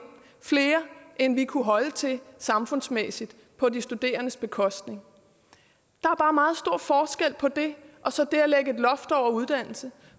flere end vi kunne holde til samfundsmæssigt på de studerendes bekostning der er bare meget stor forskel på det og så det at lægge et loft over uddannelse